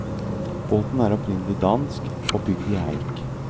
Båten er opprinnelig dansk, og bygd i eik.